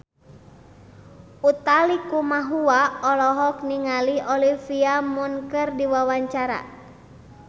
Utha Likumahua olohok ningali Olivia Munn keur diwawancara